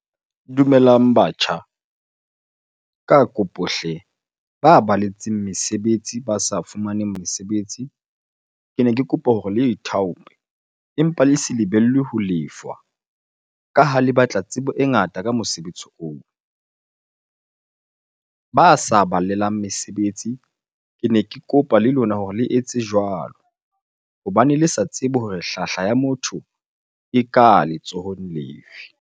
Dumelang batjha. Ka kopo hle ba baletseng mesebetsi ba sa fumaneng mesebetsi, kene ke kopa hore le ithaope empa le se lebelle ho lefwa ka ha le batla tsebo e ngata ka mosebetsi oo. Ba sa balelang mesebetsi, kene ke kopa le lona hore le etse jwalo hobane le sa tsebe hore hlahla ya motho e ka letsohong lefe.